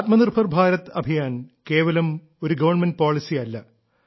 ആത്മനിർഭർ ഭാരത് അഭിയാൻ കേവലം ഒരു government policy അല്ല